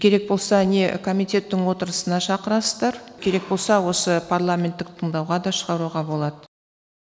керек болса не комитеттің отырысына шақырасыздар керек болса осы парламенттік тыңдауға да шығаруға болады